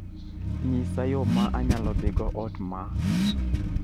nyisa yo ma anyalo dhigo ot maa